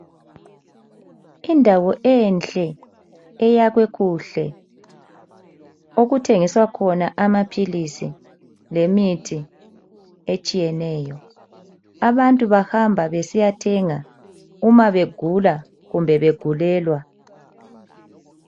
Indawo enhle eyakhwe kuhle okuthengiswa khona amaphilisi lemithi etshiyeneyo. Abantu bahamba besiyathenga uma begula kumbe begulelwa.